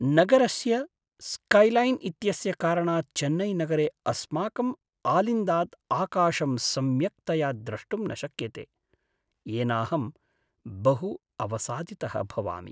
नगरस्य स्कैलैन् इत्यस्य कारणात् चेन्नैनगरे अस्माकम् आलिन्दात् आकाशं सम्यक्तया द्रष्टुं न शक्यते, येनाहं बहु अवसादितः भवामि।